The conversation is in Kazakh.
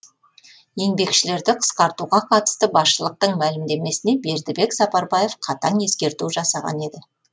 еңбекшілерді қысқартуға қатысты басшылықтың мәлімдемесіне бердібек сапарбаев қатаң ескерту жасаған еді